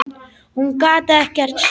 Hún gat ekkert sagt.